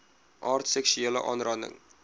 aard seksuele aanranding